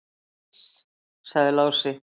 """Iss, sagði Lási."""